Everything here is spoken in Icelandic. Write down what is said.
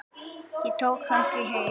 Ég tók hann því heim.